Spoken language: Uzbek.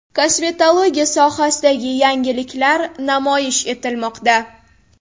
Kosmetologiya sohasidagi yangiliklar namoyish etilmoqda.